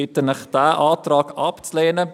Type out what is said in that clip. Ich bitte Sie, diesen Antrag abzulehnen.